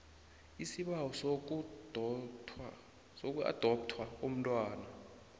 isibawo sokuadoptha umntwana